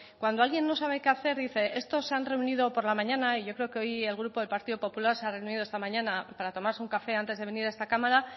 cuando alguien no sabe qué hacer dicen estos se han reunido por la mañana y yo creo que el grupo del partido popular se ha reunido esta mañana para tomarse un café antes de venir a esta cámara